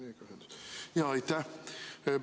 Aitäh!